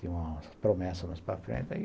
Tinha uma promessa mais para frente.